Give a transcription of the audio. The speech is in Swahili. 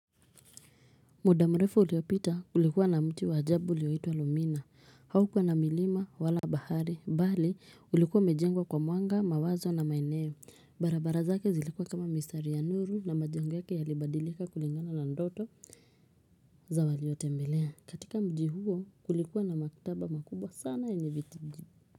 Mudamrefu uliopita kulikuwa na mti wajabu ulioitwa lumina haukwa na milima wala bahari bali ulikuwa umejengwa kwa mwanga mawazo na maeneo barabara zake zilikuwa kama mistari ya nuru na majengo yake yalibadilika kulingana na ndoto za waliotembelea katika mji huo kulikuwa na makitaba makubwa sana yenye vitiji.